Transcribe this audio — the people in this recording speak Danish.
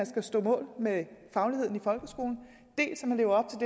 skal stå mål med fagligheden